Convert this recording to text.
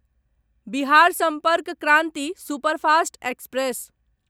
Bihar Sampark Kranti superfast express